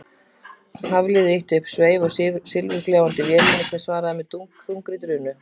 Hafliði ýtti upp sveif á silfurgljáandi vélinni sem svaraði með þungri drunu.